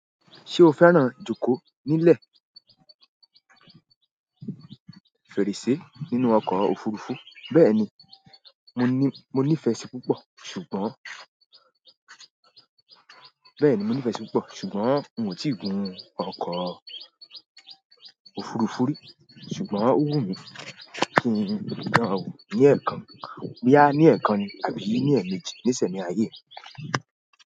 Ṣé o fẹ́ràn ìjókòó nílẹ̀ fèrèsé nínú ọkọ̀ òfùrufú? Bẹ́ẹ̀ni, mo ní, mo nìfẹ sí púpọ̀, ṣùgbọ́n nìfẹ́ sí i púpọ̀, ṣùgbọ́n mi ò tíì gun ọkọ̀ òfurufú rí. Ṣùgbọ́n ó wù mí kí n dan wò bóyá ní ẹ̀ẹ̀kan ní tàbí ní ẹ̀ẹ̀mejì ní ìsẹ̀mí ayé mi.